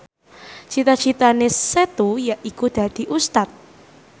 cita citane Setu yaiku dadi Ustad